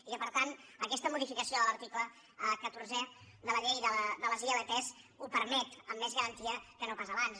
i que per tant aquesta modificació de l’article catorzè de la llei de les ilp ho permet amb més garantia que no pas abans